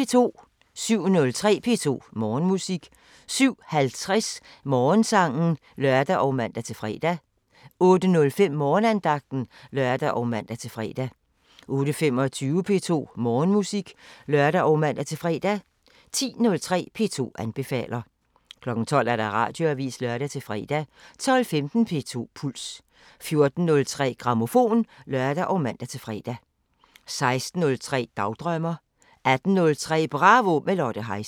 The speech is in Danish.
07:03: P2 Morgenmusik 07:50: Morgensangen (lør og man-fre) 08:05: Morgenandagten (lør og man-fre) 08:25: P2 Morgenmusik (lør og man-fre) 10:03: P2 anbefaler 12:00: Radioavisen (lør-fre) 12:15: P2 Puls 14:03: Grammofon (lør og man-fre) 16:03: Dagdrømmer 18:03: Bravo – med Lotte Heise